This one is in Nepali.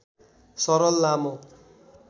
सरल लामो